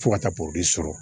Fo ka taa sɔrɔ